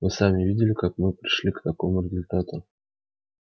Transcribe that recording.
вы сами видели как мы пришли к такому результату